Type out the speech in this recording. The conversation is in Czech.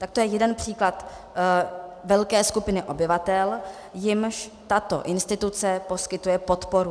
Tak to je jeden příklad velké skupiny obyvatel, jimž tato instituce poskytuje podporu.